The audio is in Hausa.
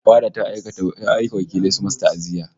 Fada ta aika wakilai suyi masa ta'aziyya